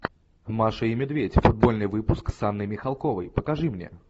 маша и медведь футбольный выпуск с анной михалковой покажи мне